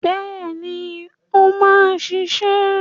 Bẹ́ẹ̀ni, ó máa ṣiṣẹ́.